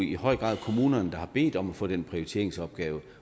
i høj grad kommunerne der har bedt om at få den prioriteringsopgave